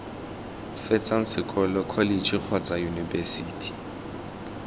fetsang sekolo kholetšhe kgotsa yunibesithi